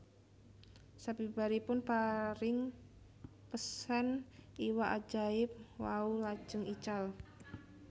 Sabibaripun paring pesen iwak ajaib wau lajeng ical